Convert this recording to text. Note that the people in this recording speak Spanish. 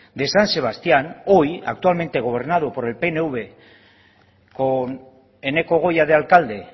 de san sebastián hoy actualmente gobernado por el pnv con eneko goia de alcalde